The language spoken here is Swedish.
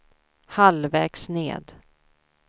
halvvägs ned